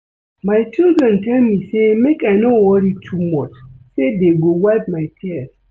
My children tell me say make I no worry too much say dey go wipe my tears